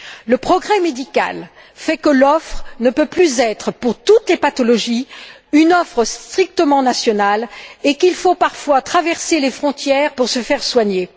Le progrès médical fait que l'offre ne peut plus être pour toutes les pathologies une offre strictement nationale et qu'il faut parfois traverser les frontières pour se faire soigner.